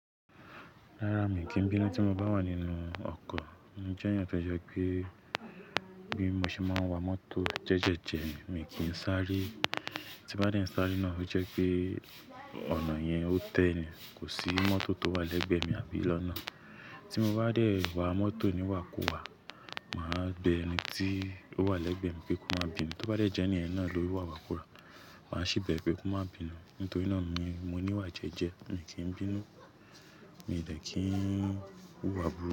Rárá, mi kì bínú tí mo bá wà nínú ọkọ̀. Mo jẹ́yàn tó jẹ pé bí mo ṣe máa ń wa mọ́tò jẹ́jẹ́jẹ ni, mi kì í sáré. Tí bá dé sáré náà ó jẹ́ pé ọ̀nà yẹn ó tẹ́ni, kò sí mọ́tò tó wà lẹ́gbẹ̀ mi àbí lọ́nà. Tí mo bá dé wá mọ́tò ni wà kù wá, màá bẹ ẹni tí ó wà lẹ́gbẹ́ mi pé kó má bínú. Tí ó bá dé jẹ́ ni ẹni náà ló wà kù wá, màá sì bẹ pé kó má bínú. Nítorí náà mi, mo níwà jẹ́jẹ́, mi kì bínú, mi dẹ̀ kí ń hùwà búruku.